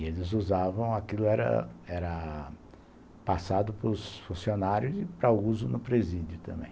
E eles usavam, aquilo era era passado para os funcionários e para uso no presídio também.